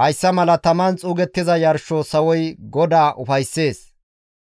hayssa mala taman xuugettiza yarsho sawoy GODAA ufayssees.